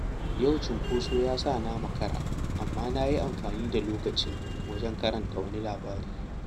Yau cunkoso ya sa na makara, amma na yi amfani da lokacin wajen karanta wani labari.